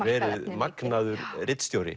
magnaður ritstjóri